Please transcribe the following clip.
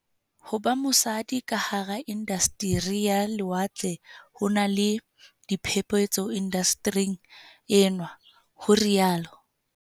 Ho ba mosadi ka hara inda steri ya lewatle ho na le "diphephetso indastering enwa" ho rialo